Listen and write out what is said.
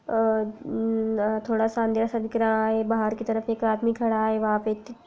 अ मम्म थोड़ा सा अंधेरा सा दिख रहा है बाहर की तरफ एक आदमी खड़ा है वहाँ पे--